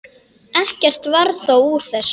Ekkert varð þó úr þessu.